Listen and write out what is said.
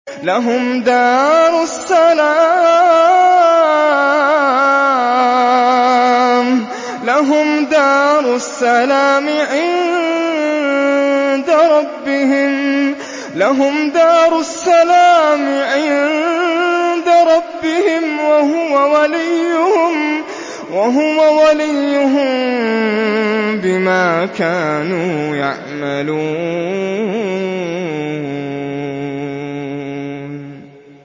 ۞ لَهُمْ دَارُ السَّلَامِ عِندَ رَبِّهِمْ ۖ وَهُوَ وَلِيُّهُم بِمَا كَانُوا يَعْمَلُونَ